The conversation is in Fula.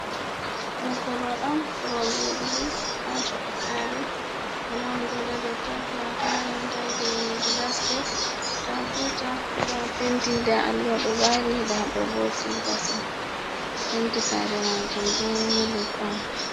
Ɗo korwal on korwal joɗugo ha caka sare walamo joɗi ha Totton, nda taya nda geneji space nda buta nda alluha ɗo ɓari nda ɗobo sleepas on penti sare majum don milk on.